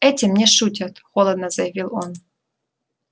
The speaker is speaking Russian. этим не шутят холодно заявил он